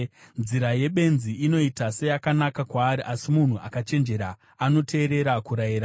Nzira yebenzi inoita seyakanaka kwaari, asi munhu akachenjera anoteerera kurayira.